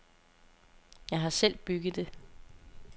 Jeg har selv bygget det.